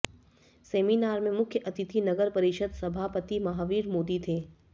seminar में मुख्य अतिथि नगर परिषद सभापति महावीर मोदी थे